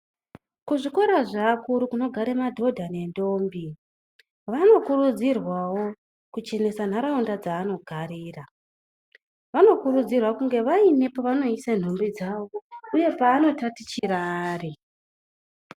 Kuzvikora zveakuru kunogare madhodha nendombi , vanokurudzirwawo kuchenesa nharaunda dzavanogarira. Vanokurudzirwa kunga vaine pevanoisa nhumbi dzavo uye pevanotatichira vari.